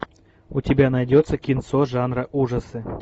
у тебя найдется кинцо жанра ужасы